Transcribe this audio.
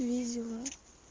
видела